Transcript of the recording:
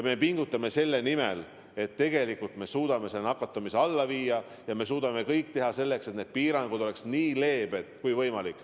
Me pingutame selle nimel, et me suudaksime nakatumise alla viia ja teha kõik selleks, et piirangud oleksid nii leebed kui võimalik.